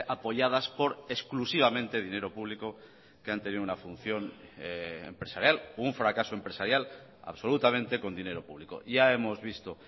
apoyadas por exclusivamente dinero público que han tenido una función empresarial un fracaso empresarial absolutamente con dinero público ya hemos visto